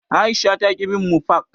Aisha taƙi bin mu fak.